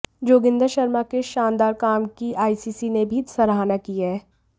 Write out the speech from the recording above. जोगिंदर शर्मा के इस शानदार काम की आईसीसी ने भी सराहना की है